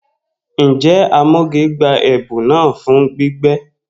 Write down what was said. Njẹ Amoge gba ẹbun naa fun gbígbẹ?